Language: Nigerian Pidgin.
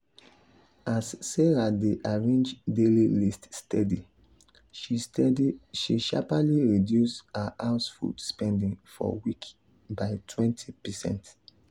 as sarah dey arrange daily list steady she steady she sharply reduce her house food spending for week by 20%.